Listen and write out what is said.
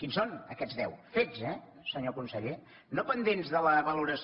quins són aquests deu fets eh senyor conseller no pendents de la valoració